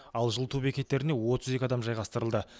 ал жылыту бекеттеріне отыз екі адам жайғастырылды